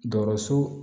Garis